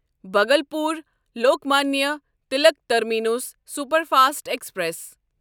Bhagalpur Lokmanya Tilak terminus superfast express